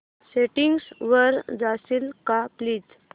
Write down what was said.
settings वर जाशील का प्लीज